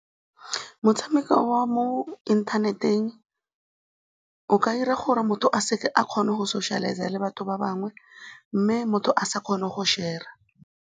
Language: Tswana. Motshameko wa mo inthaneteng o ka dira gore motho a se ke a kgona go socialise-a le batho ba bangwe mme motho a sa kgone go share-ra.